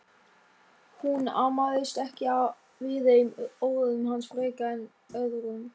Hún amaðist ekki við þeim orðum hans frekar en öðrum.